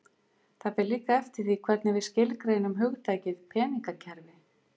Það fer líka eftir því hvernig við skilgreinum hugtakið peningakerfi.